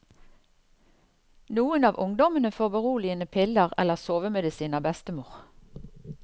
Noen av ungdommene får beroligende piller eller sovemedisin av bestemor.